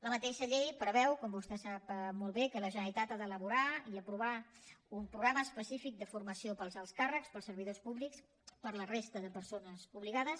la mateixa llei preveu com vostè sap molt bé que la generalitat ha d’elaborar i aprovar un programa específic de formació per als alts càrrecs per als servidors públics per a la resta de persones obligades